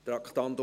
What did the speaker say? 2019.RRGR.89